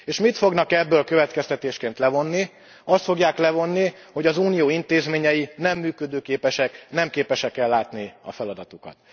És mit fognak ebből következtetésként levonni? Azt fogják levonni, hogy az Unió intézményei nem működőképesek, nem képesek ellátni a feladatukat.